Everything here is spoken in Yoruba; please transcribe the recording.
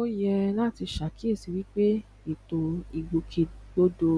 ó yẹ láti ṣe àkíyèsíi wípé ètò ìgbòkègbodò